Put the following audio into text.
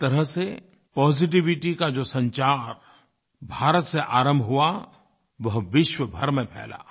एक तरह से पॉजिटिविटी का जो संचार भारत से आरंभ हुआ वह विश्व भर में फ़ैला